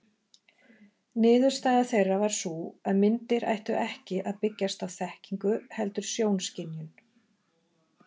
Niðurstaða þeirra var sú að myndir ættu ekki að byggjast á þekkingu heldur sjónskynjun.